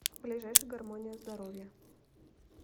ближайший гармония здоровья